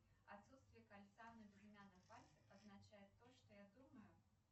отсутствие кольца на безымянном пальце означает то что я думаю